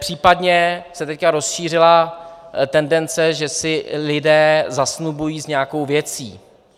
Případně se teď rozšířila tendence, že se lidé zasnubují s nějakou věcí.